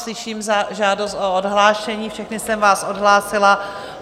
Slyším žádost o odhlášení, všechny jsem vás odhlásila.